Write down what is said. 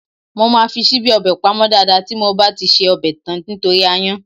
Mo máa fi ṣíbí ọbẹ̀ pamọ́ dáadáa tí mo bá ti ṣe ọbẹ̀ tán torí aáyán.